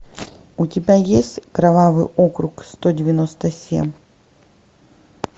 у тебя есть кровавый округ сто девяносто семь